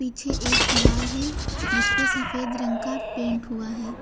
पीछे एक दीवार है जिस पे सफेद रंग का पेंट हुआ है।